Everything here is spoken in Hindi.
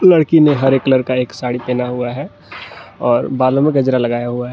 लड़की ने हरे कलर का एक साड़ी पहना हुआ है और बालों में गजरा लगाए हुआ है।